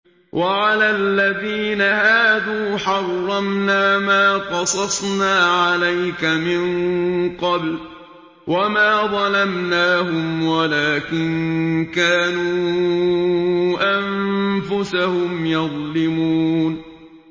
وَعَلَى الَّذِينَ هَادُوا حَرَّمْنَا مَا قَصَصْنَا عَلَيْكَ مِن قَبْلُ ۖ وَمَا ظَلَمْنَاهُمْ وَلَٰكِن كَانُوا أَنفُسَهُمْ يَظْلِمُونَ